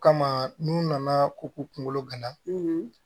O kama n'u nana ko k'u kunkolo gana